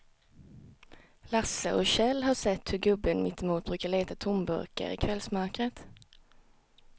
Lasse och Kjell har sett hur gubben mittemot brukar leta tomburkar i kvällsmörkret.